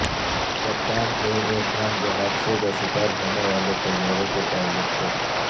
کپتان A A Khan جو حادثے کا شکار ہونے والے طیارے کے پائلٹ تھے